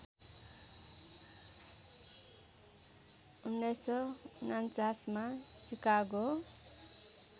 १९४९ मा सिकागो